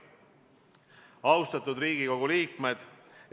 Austatud Riigikogu liikmed!